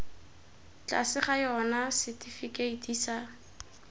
tlase ga yona setifikeiti sa